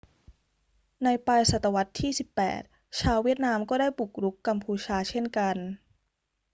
ในปลายศตวรรษที่ 18 ชาวเวียดนามก็ได้บุกรุกกัมพูชาเช่นกัน